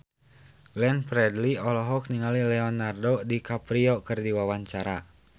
Glenn Fredly olohok ningali Leonardo DiCaprio keur diwawancara